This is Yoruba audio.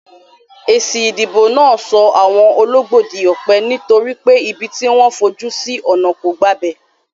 Èsì ìdìbò náà so àwon ologbó dí òpè, nítorí pé ibi tí wón fojú sí ònà kò gbabè